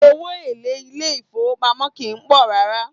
Owó èlé ilé ìfọwọ́pamó kìí pọ̀ rárá.